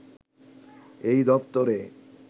এই দপ্তরে